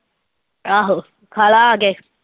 ਆਹੋ, ਖਾ ਲਾ ਆ ਕੇ।